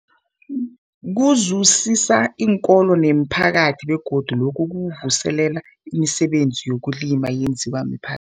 Kuzuzisa iinkolo nemiphakathi begodu lokhu kuvuselela imisebenzi yezokulima eyenziwa mipha